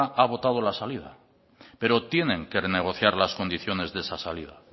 ha votado la salida pero tienen que renegociar las condiciones de esa salida